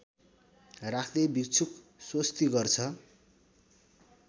राख्दै भिक्षुक स्वस्ति गर्छ